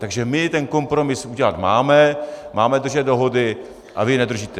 Takže my ten kompromis udělat máme, máme držet dohody, a vy je nedržíte.